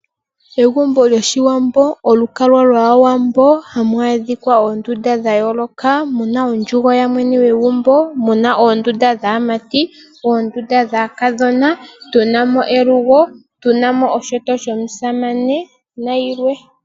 Egumbo lyoshiwambo olukalwa lwaawambo ohamu adhika oondunda dhayooloka, muna ondjugo yamwene gwegumbo, muna oondunda dhaamati, oondunda dhaakadhona, tunamo elugo, tunamo oshinyanga shomusamane nayilwe.